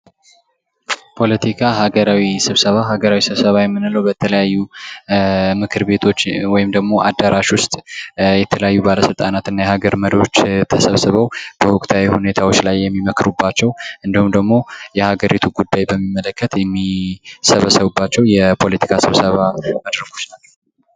ፖለቲካ ሀገራዊ ስብሰባ፦ ሀገራዊ ስብሰባ የምንለው በተለያዩ ምክር ቤቶች ወይም ደግሞ አዳራሽ ውስጥ የተለያዩ ባለስልጣናት እና የሀገር መሪዎች ተሰብስበው በወቅታዊ ሁኔታዎች ላይ የሚመክሩባቸው እንዲሁም ደግሞ የሀገሪቱን ጉዳይ በሚመለከት የሚሰበሰቡባቸው የፖለቲካ ስብሰባ መድረኮች ናቸው።